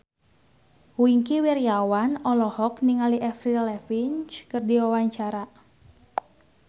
Wingky Wiryawan olohok ningali Avril Lavigne keur diwawancara